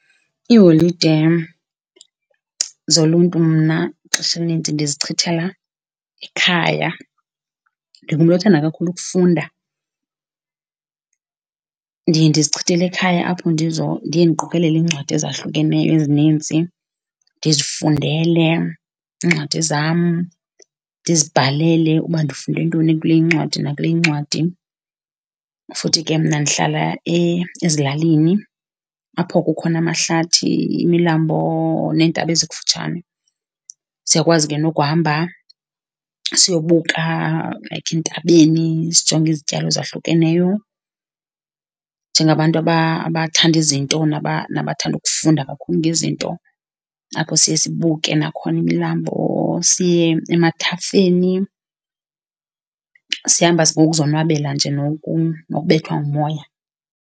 Iiholide zoluntu mna ixesha elininzi ndizichithela ekhaya. Ndingumntu othanda kakhulu ukufunda, ndiye ndizichithele ekhaya apho ndiye ndiqokelele iincwadi ezahlukeneyo ezininzi, ndizifundele iincwadi zam, ndizibhalele uba ndifunde ntoni kule incwadi nakule incwadi. Futhi ke mna ndihlala ezilalini apho kukhona amahlathi, imilambo neentaba ezikufutshane. Siyakwazi ke nokuhamba siyobuka like entabeni sijonge izityalo ezahlukeneyo njengabantu abathanda izinto nabathanda ukufunda kakhulu ngezinto, apho siye sibuke nakhona imilambo siye emathafeni sihamba ngokuzonwabela nje nokubethwa ngumoya.